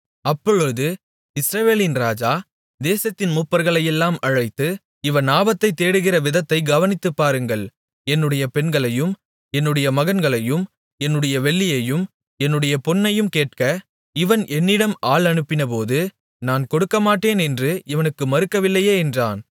அப்பொழுது இஸ்ரவேலின் ராஜா தேசத்தின் மூப்பர்களையெல்லாம் அழைத்து இவன் ஆபத்தைத் தேடுகிற விதத்தைக் கவனித்துப் பாருங்கள் என்னுடைய பெண்களையும் என்னுடைய மகன்களையும் என்னுடைய வெள்ளியையும் என்னுடைய பொன்னையும் கேட்க இவன் என்னிடம் ஆள் அனுப்பினபோது நான் கொடுக்கமாட்டேன் என்று இவனுக்கு மறுக்கவில்லையே என்றான்